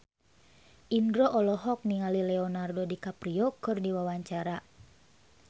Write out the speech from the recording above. Indro olohok ningali Leonardo DiCaprio keur diwawancara